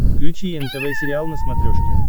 включи нтв сериал на смотрешке